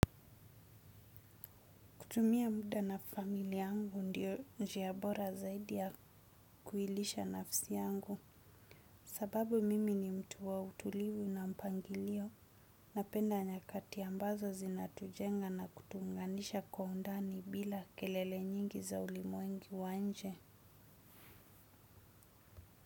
Kutumia muda na familia yangu ndio njia bora zaidi ya kuilisha nafsi angu sababu mimi ni mtu wa utulivu na mpangilio na penda nyakati ambazo zinatujenga na kutuunganisha kwa undani bila kelele nyingi za ulimwengu wa nje.